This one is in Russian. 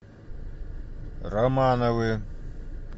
романовы